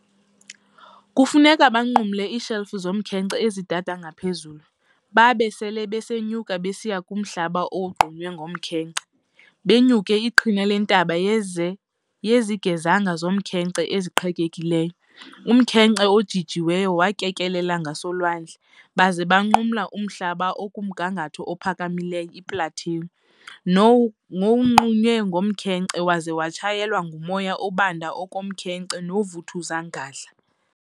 Kufuneka banqumle ii"shelf" zomkhenkce ezi dada ngaphezulu, babe sele besenyuka besiya kumhlaba owogqunywe ngomkhenkce, benyuke iqhina lentaba yezigezenga zomnkhenkce eziqhekekileyo, umkhenkce ojijiwe wakekelela ngaselwandle, baza banqumla umhlaba okumgangatho ophakamileyo, i-plateau", nowogqunywe ngomkhenkce waza watshayelwa ngumoya obanda oku komkhenkce noovuthuza ngandla.